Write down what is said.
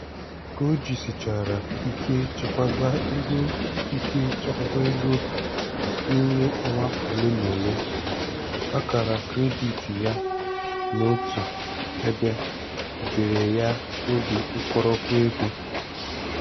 Ka o jisichara ike chekwaba ego ike chekwaba ego n'ime ọnwa ole n'ole, akara kredit ya nọ otu ebe buteere ya obi nkoropụ ego.